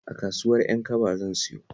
A kasuwar Ƴankaba zan sayo